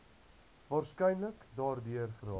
waarskynlik daardeur geraak